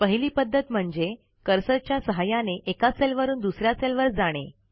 पहिली पध्दत म्हणजे कर्सरच्या सहाय्याने एका सेलवरून दुस या सेलवर जाणे